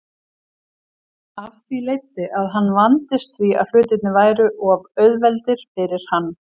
Af því leiddi að hann vandist því að hlutirnir væru of auðveldir fyrir hann.